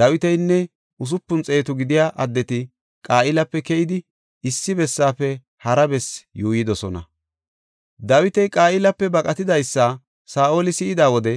Dawitinne usupun xeetu gidiya addeti Qa7ilape keyidi, issi bessafe hara bessi yuuyidosona. Dawiti Qa7ilape baqatidaysa Saa7oli si7ida wode